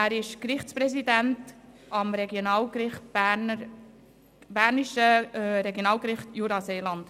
Er ist Gerichtspräsident am bernischen Regionalgericht Jura-Seeland.